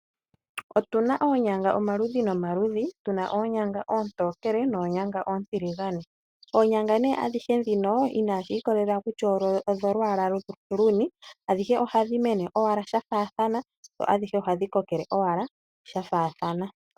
Otu na oonyanga omaludhi ga yooloka ngaashi oonyanga oontokele na dhimwe oontiligane, ashike adhihe oha dhi mene nokukoka shafaathana.